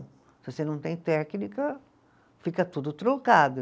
Se você não tem técnica, fica tudo truncado.